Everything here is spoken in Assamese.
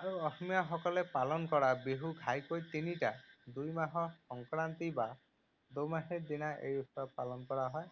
আৰু অসমীয়া সকলে পালন কৰা বিহু ঘাইকৈ তিনিটা। দুই মাহৰ সংক্ৰান্তি বা দোমাহীৰ দিনা এই উৎসৱ পালন কৰা হয়।